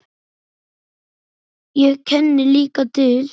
Ég kenni líka til.